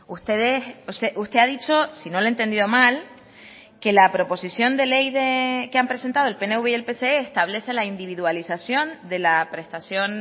ustedes usted ha dicho si no le he entendido mal que la proposición de ley que han presentado el pnv y el pse establece la individualización de la prestación